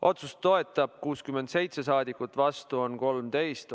Otsust toetab 67 saadikut, vastu on 13.